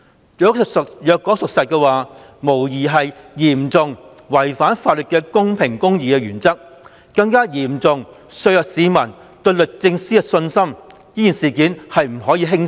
如果屬實，有關決定無疑嚴重違反法律公平公義的原則，更嚴重削弱市民對律政司的信心，此事不可輕視。